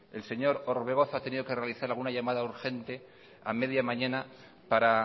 el señor orbegozo ha tenido que realizar alguna llamada urgente a media mañana para